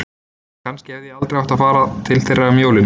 Kannski hefði ég aldrei átt að fara til þeirra um jólin.